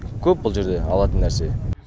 көп бұл жерде алатын нәрсе